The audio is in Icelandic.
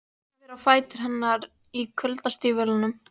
Horfir á fætur hennar í kuldastígvélum.